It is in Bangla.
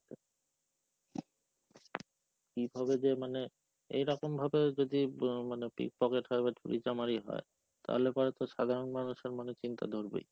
কিভাবে যে মানে, এইরকম ভাবে যদি মানে pickpocket হয় বা চুরি চামারি হয়, তাহলে পরে তো সাধারণ মানুষের মনে চিন্তা ধরবেই।